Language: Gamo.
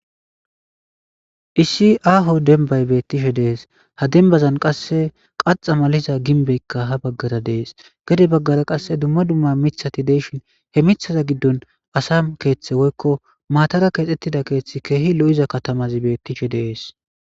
Issi aaho dembbay beththishe de7ees; ha dembbazan qassi kaththa malida gimbbeekka ha baggaara de7ees; gede baggaara qassi dumma dumma miththathi de7ishin he miththatha giddon asa keeththe woykko maathara keexeththida keeththi keehi lo7iza kathamathi beeththishe de7ees.